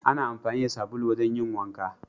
Ana amfani da sabulu wajen yin wanka